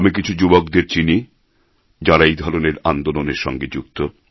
আমি কিছু যুবকদের চিনি যাঁরা এই ধরনের আন্দোলনের সঙ্গে যুক্ত